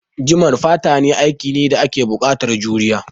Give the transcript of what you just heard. Jiman fata aiki ne da yake buƙatan juriya